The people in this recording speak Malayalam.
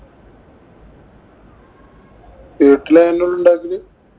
വീട്ടില് തന്നെയാണുണ്ടാക്കല്.